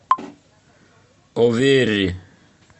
оверри